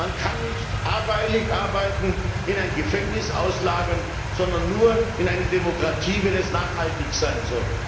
Man kann nicht Billigarbeiten in ein Gefängnis auslagern, sondern nur in eine Demokratie, wenn es nachhaltig sein soll.